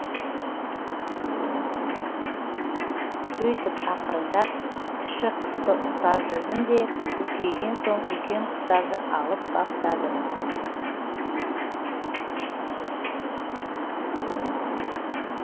сөйтіп ақырындап кіші құсты ұстап жүрдім де үлкейген соң үлкен құстарды алып баптадым